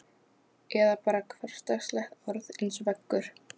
Geirfinni fylgdi tilhugsuninni um það sérkennilegur léttir.